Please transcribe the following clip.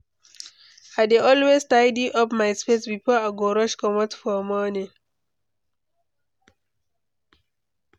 I dey always tidy up my space before I go rush comot for morning.